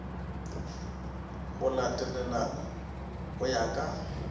go latelana go ya ka